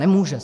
Nemůže.